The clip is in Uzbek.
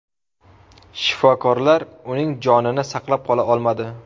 Shifokorlar uning jonini saqlab qola olmadi.